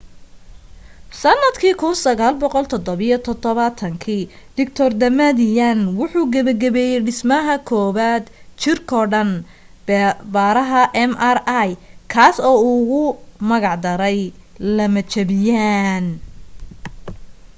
sanadka 1977 dr damadian wuxuu gabagabeyey dhismaha kowad jirkoo-dhan baaraha mri kaas oo uu ugu magic daray lamajabiyaan